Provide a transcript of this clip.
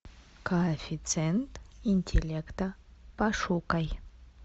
коэффициент интеллекта пошукай